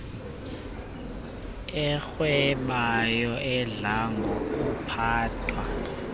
arhwebayo adla ngokuphathwa